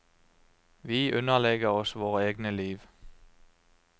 Vi underlegger oss våre egne liv.